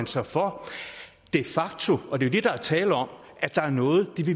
sig for de facto og det er der er tale om at der er noget